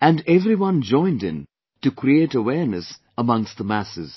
and every one joined in to create awareness amongst the masses